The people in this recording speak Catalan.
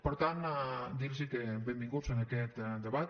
per tant dir los que benvinguts a aquest debat